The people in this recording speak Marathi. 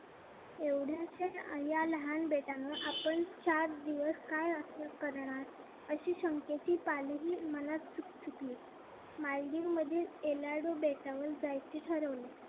एवढ्याशा या लहान बेटावर आपण चार दिवस काय असं करणार अशी शंकेची पालवी मनात चुकचुकली. मालदीवमधील elado बेटावर जायचे ठरवले.